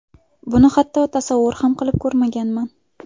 Buni hatto tasavvur ham qilib ko‘rmaganman.